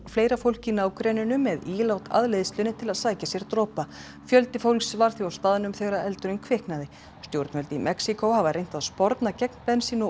fleira fólk í nágrenninu svo með ílát að leiðslunni til þess að sækja sér dropa fjöldi fólks var því á staðnum þegar eldurinn kviknaði stjórnvöld í Mexíkó hafa reynt að sporna gegn bensín og